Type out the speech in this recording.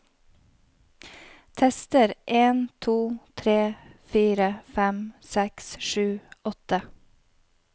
Tester en to tre fire fem seks sju åtte